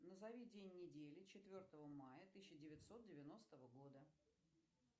назови день недели четвертого мая тысяча девятьсот девяностого года